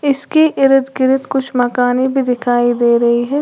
इसके इर्द गिर्द कुछ मकाने भी दिखाई दे रही है।